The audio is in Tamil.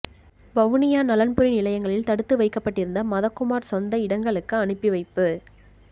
வவுனியா நலன்புரி நிலையங்களில் தடுத்து வைக்கப்பட்டிருந்த மதகுமார் சொந்த இடங்களுக்கு அனுப்பி வைப்பு